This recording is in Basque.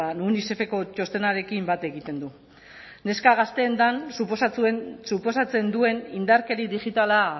unicefeko txostenarekin bat egiten du neska gazteengan suposatzen duen indarkeria digitala